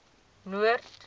noord